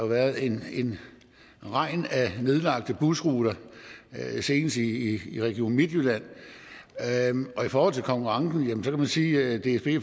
været en regn af nedlagte busruter senest i region midtjylland i forhold til konkurrencen kan man sige at dsb